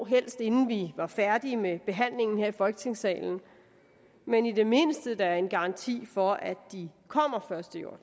helst inden vi var færdige med behandlingen her i folketingssalen men i det mindste da en garanti for at de kommer